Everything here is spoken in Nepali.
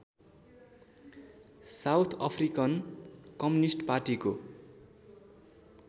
साउथ अफ्रिकन कम्युनिष्ट पार्टीको